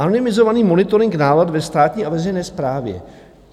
"Anonymizovaný monitoring nálad ve státní a veřejné správě.